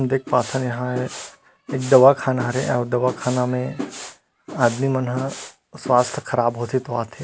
देख पाथन यहाँ एक दवा खाना हरे अउ दवा खाना में आदमी मन हा स्वास्थ्य ख़राब होथे तो आथे।